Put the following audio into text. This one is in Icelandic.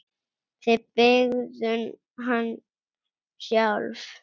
Þið byggðuð hann sjálf.